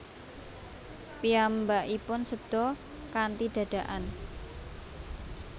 Piyambakipun séda kanthi dadakan